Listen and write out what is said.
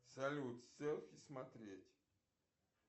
салют селфи смотреть